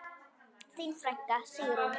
Þín frænka, Sigrún.